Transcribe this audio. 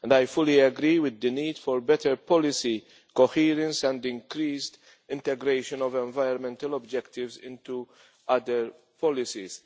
I fully agree with the need for better policy coherence and increased integration of environmental objectives into other policies.